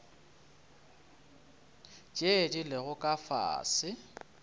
tše di lego ka fase